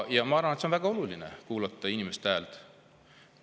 Arvan aga, et on väga oluline kuulata inimeste häält.